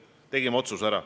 Me tegime selle otsuse ära.